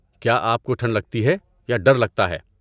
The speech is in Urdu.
کیا آپ کو ٹھنڈ لگتی ہے یا ڈر لگتا ہے؟